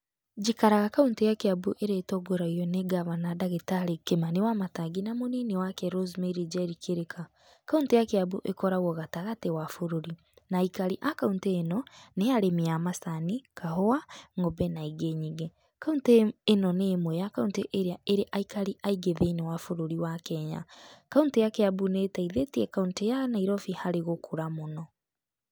Njikaraga kauntĩ ya kĩambu ĩrĩa ĩtongoragio nĩ ngabana ndagĩtarĩ Kĩmani Wamatangi na mũnini wake RoseMary Njeri Kihika. Kauntĩ ya Kĩambu ĩkoragwo gatagatĩ wa bũrũri, na aikari a kaũntĩ ĩno nĩ arĩmi a macani, kahũa, ngombe na ingĩ nyingĩ. Kauntĩ ĩno nĩ ĩmwe ya kauntĩ ĩria irĩ aikari aingĩ thĩinĩ wa bũrũri wa Kenya. Kauntĩ ya Kĩambu nĩ ĩteithĩtie kauntĩ ya Nairobi harĩ gũkũra mũno.